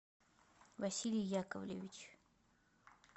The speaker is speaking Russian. василий яковлевич